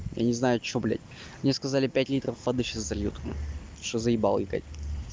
я не знаю что блядь мне сказали пять литров воды сейчас зальют потому что заибал икать